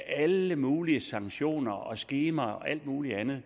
af alle mulige sanktioner og skemaer og alt muligt andet